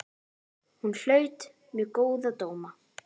Hún hlaut mjög góða dóma.